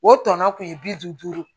O tɔnɔ kun ye bi duuru